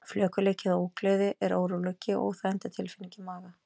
Flökurleiki eða ógleði er óróleika- og óþægindatilfinning í maga.